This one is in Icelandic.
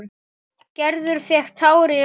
Gerður fékk tár í augun.